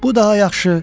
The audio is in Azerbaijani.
Bu daha yaxşı.